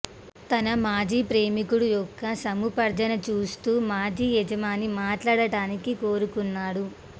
తన మాజీ ప్రేమికుడు యొక్క సముపార్జన చూస్తూ మాజీ యజమాని మాట్లాడటానికి కోరుకున్నాడు